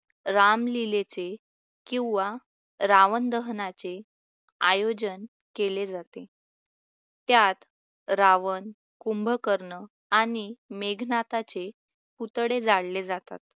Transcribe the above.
रामलीलेचे किंवा रावण दहनाचे आयोजन केले जाते. त्यात रावण, कुंभकर्ण आणि मेघनाथाचे पुतळे जाळले जातात.